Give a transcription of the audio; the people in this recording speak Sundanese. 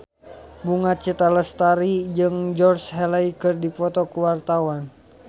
Bunga Citra Lestari jeung Georgie Henley keur dipoto ku wartawan